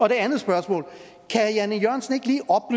et andet spørgsmål